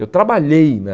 Eu trabalhei na...